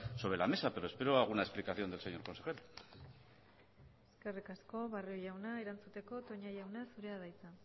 sobre la mesa pero espero alguna explicación del señor consejero eskerrik asko barrio jauna erantzuteko toña jauna zurea da hitza